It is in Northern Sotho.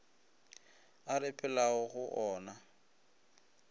a re phelago go ona